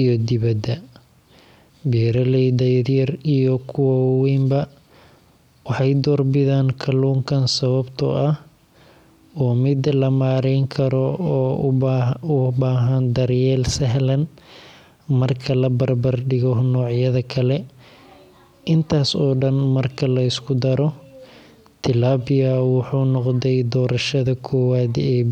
iyo dibadda. Beeraleyda yaryar iyo kuwa waaweynba waxay doorbidaan kalluunkan sababtoo ah waa mid la maareyn karo oo u baahan daryeel sahlan marka la barbar dhigo noocyada kale. Intaas oo dhan marka la isku daro, tilapia wuxuu noqday doorashada koowaad ee beeraleyda.